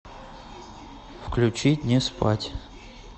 включить не спать